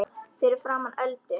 Fyrir framan Öldu.